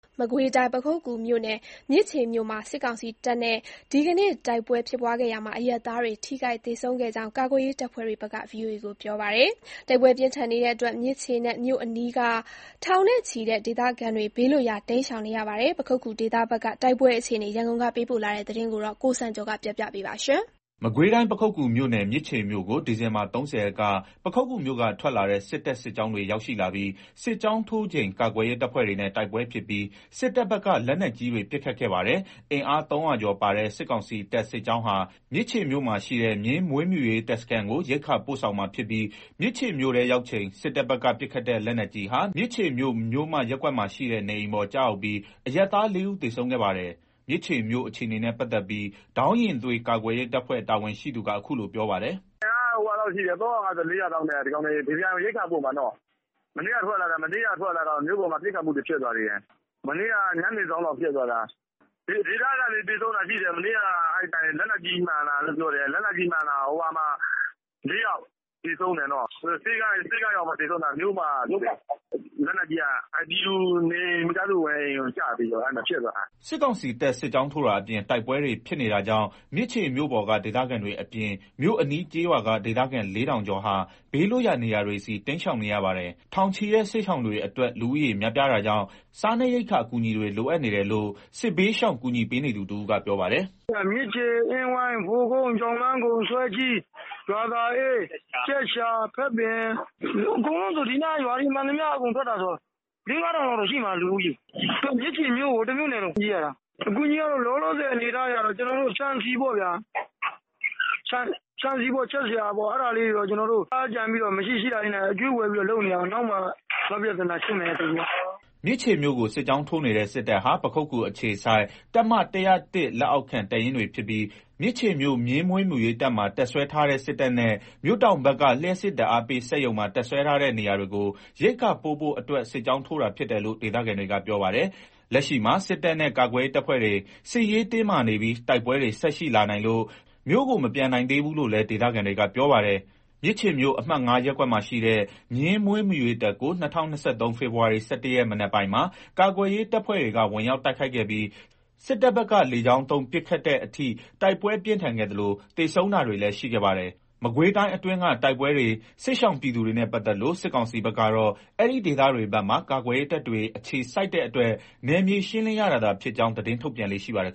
မကွေးတိုင်း ပခုက္ကူမြို့နယ် မြစ်ခြေမြို့မှာ စစ်ကောင်စီတပ်နဲ့ ဒီနေ့တိုက်ပွဲဖြစ်ခဲ့ရာမှာ အရပ်သားတွေ ထိခိုက်သေဆုံးခဲ့ကြောင်း ကာကွယ်ရေးတပ်ဖွဲ့တွေဘက်က ဗွီအိုအေကို ပြောပါတယ်။ တိုက်ပွဲပြင်းထန်နေတဲ့အတွက် မြစ်ခြေမြို့အနီးက ထောင်နဲ့ချီတဲ့ဒေသခံတွေ ဘေးလွတ်ရာ တိမ်းရှောင်နေရပါတယ်။ ပခုက္ကူဒေသဘက် တိုက်ပွဲအခြေအနေ ရန်ကုန်ကပေးပို့လာတဲ့ သတင်းကို ရန်ကုန်ကနေ သတင်းပေးပို့ထားပါတယ်။ မကွေးတိုင်း ပခုက္ကူမြို့နယ် မြစ်ခြေမြို့ကို ဒီဇင်ဘာ ၃၀ ရက်က ပခုက္ကူမြို့က ထွက်လာတဲ့ စစ်တပ် စစ်ကြောင်းတွေရောက်လာပြီး စစ်ကြောင်းထိုးချိန် ကာကွယ်ရေးတပ်ဖွဲ့တွေနဲ့ တိုက်ပွဲဖြစ်ပြီး စစ်တပ်ဘက်က လက်နက်ကြီးတွေ ပစ်ခတ်ခဲ့ပါတယ်။ အင်အား ၃၀၀ ကျော်ပါတဲ့ စစ်ကောင်စီတပ် စစ်ကြောင်းဟာ မြစ်ခြေမြို့မှာရှိတဲ့ မြင်းမွေးမြူရေး တပ်စခန်းကို ရိက္ခာပို့ဆောင်မှာဖြစ်ပြီး မြစ်ခြေမြို့ထဲရောက်ချိန် စစ်တပ်ဘက်ကပစ်ခတ်တဲ့ လက်နက်ကြီးဟာ မြစ်ခြေမြို့ မြို့မ ရပ်ကွက်မှာရှိတဲ့ နေအိမ်ပေါ် ကျရောက်ပြီး အရပ်သား ၄ ဦး သေဆုံးခဲ့ပါတယ်။ မြစ်ခြေမြို့အခြေအနေနဲ့ ပတ်သက်ပြီး ဒေါင်းယဉ်သွေး ကာကွယ်ရေးတပ်ဖွဲ့ တာဝန်ရှိသူက အခုလို ပြောပါတယ်။ " အင်အား ၃၅၀-၄၀၀ လောက်နဲ့ ဘီဘီအိုင် ( မြင်းမွေးမြူရေးတပ်) ကို ရိက္ခာပို့မှာနော်။ မနေ့က ထွက်လာတဲ့မြို့ပေါ်မှာ ပစ်ခတ်မှုတွေ ဖြစ်သွားသေးတယ်။ (တိုက်ပွဲက) မနေ့ ညနေစောင်းလောက်က ဖြစ်သွားတာ။ ဒေသခံတွေ သေဆုံးတာရှိတယ်။ မနေ့က လက်နက်ကြီးမှန်တာ ၄ ယောက် သေဆုံးတယ် နော်။ ဆေးခန်းရောက်မှ သေဆုံးတာမြို့မ(ရပ်ကွက်) က လက်နက်ကြီးက ပြည်သူမိသားစုနေအိမ်ကို ကျပြီးတော့ အဲ့မှာ ဖြစ်သွားတာ။" စစ်ကောင်စီတပ် စစ်ကြောင်းထိုးတာအပြင် တိုက်ပွဲတွေဖြစ်နေတာကြောင့် မြစ်ခြေမြို့ပေါ်က ဒေသခံတွေ အပြင် မြို့အနီးကျေးရွာက ဒေသခံ ၄ ထောင်ကျော်ဟာ ဘေးလွတ်ရာ နေရာတွေဆီ တိမ်းရှောင်နေရပါတယ်။ ထောင်ချီတဲ့ စစ်ရှောင်တွေအတွက် လူဦးရေ များပြားတာကြောင့် စားနပ်ရိက္ခာအကူအညီတွေ လိုအပ်နေတယ်လို့ စစ်ဘေးရှောင်ကူညီပေးနေသူတဦးက ပြောပါတယ်။ "မြစ်ခြေ၊ အင်းဝိုင်း၊ ဗိုလ်ကုန်း၊ အင်းဝိုင်း၊ ဆွဲကြီး၊ ရွာသာအေး၊ ကြက်ရှာ၊ ခပ်ပင် အကုန်လုံး ဒီနားက ရွာတွေမှန်သမျှ ထွက်ပြေးရတာဆိုတော့ လေး-ငါးထောင်လောက်တော့ရှိမှာ။ လူဦးရေက မြစ်ခြေမြို့ တမြို့နယ်လုံးပြေးရတာ။ အကူအညီကတော့ လောလောဆယ် ဆန်ဆီပေါ့ဗျာ။ ဆန်ဆီ ချက်စရာ လေးတွေ အဲ့ဒါတွေကို ကျနော်တို့ မရှိရှိတာ ရှာကြံပြီး အကြွေးဝယ်လုပ်နေရတယ်။ နောက်မှ နောက်ပြဿနာရှင်းမယ်ဆိုပြီးတော့ " မြစ်ခြေမြို့ကို စစ်ကြောင်းထိုးနေတဲ့ စစ်တပ်ဟာ ပခုက္ကူအခြေစိုက် တပ်မ (၁၀၁) လက်အောက်ခံ တပ်ရင်းတွေဖြစ်ပြီး မြစ်ခြေမြို့ မြင်းမွေးမြူရေး တပ်မှာ တပ်စွဲထားတဲ့ စစ်တပ်နဲ့ မြို့တောင်ဘက်က လျှပ်စစ်ဓာတ်အားပေးစက်ရုံမှာ တပ်စွဲထားတဲ့ နေရာတွေကို ရိက္ခာပို့ဖို့ စစ်ကြောင်းထိုးတာ ဖြစ်တယ်လို့ ဒေသခံတွေက ပြောပါတယ်။ လက်ရှိမှာ စစ်တပ်နဲ့ ကာကွယ်ရေးတပ်ဖွဲ့တွေနဲ့ စစ်ရေးတင်းမာနေပြီး တိုက်ပွဲတွေဆက်ရှိလာနိုင်လို့ မြို့ကို မပြန်နိုင်သေးဘူးလို့လည်း ဒေသခံတွေက ပြောပါတယ်။ မြစ်ခြေမြို့ အမှတ် (၅) ရပ်ကွက်မှာရှိတဲ့ မြင်းမွေးမြူရေးတပ်ကို ၂၀၂၃ ဖေဖော်ဝါရီ ၁၁ ရက် မနက်ပိုင်းမှာ ကာကွယ်ရေး တပ်ဖွဲ့တွေက ဝင်ရောက်တိုက်ခိုက်ခဲ့ပြီး စစ်တပ်ဘက်က လေကြောင်းသုံး ပစ်ခတ်တဲ့အထိ တိုက်ပွဲပြင်းထန်ခဲ့သလို သေဆုံးတာတွေလည်းရှိခဲ့ပါတယ်။ မကွေးတိုင်းအတွင်းက တိုက်ပွဲတွေ စစ်ရှောင်ပြည်သူတွေနဲ့ပတ်သက်လို့ စစ်ကောင်စီဘက်ကတော့ အဲ့ဒီ့ဒေသတွေဘက်မှာ ကာကွယ်ရေးတပ်တွေ အခြေစိုက်တဲ့အတွက် နယ်မြေရှင်းလင်းရတာသာဖြစ်ကြောင်း သတင်းထုတ်ပြန်လေ့ ရှိပါတယ်